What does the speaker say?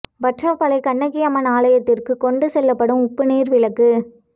வற்றாப்பளை கண்ணகி அம்மன் ஆலயத்திற்கு கொண்டு செல்லப்படும் உப்பு நீர் விளக்கு